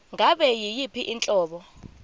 ngabe yiyiphi inhlobo